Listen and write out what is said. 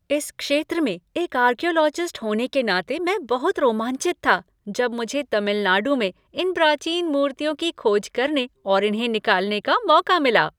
इस क्षेत्र में एक आर्कियोलॉजिस्ट होने के नाते मैं बहुत रोमांचित था जब मुझे तमिल नाडु में इन प्राचीन मूर्तियों की खोज करने और इन्हें निकालने का मौका मिला।